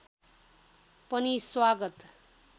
पनि स्वागत